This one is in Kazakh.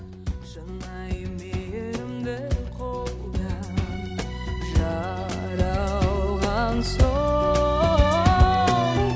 шынайы мейірімді қолда жаралған соң